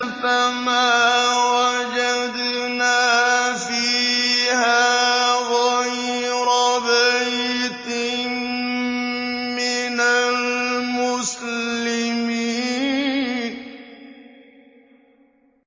فَمَا وَجَدْنَا فِيهَا غَيْرَ بَيْتٍ مِّنَ الْمُسْلِمِينَ